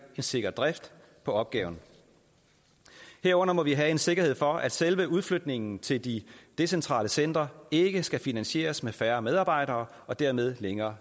en sikker drift af opgaven herunder må vi have en sikkerhed for at selve udflytningen til de decentrale centre ikke skal finansieres med færre medarbejdere og dermed længere